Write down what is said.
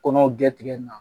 Kɔnɔw gɛ tigɛ in na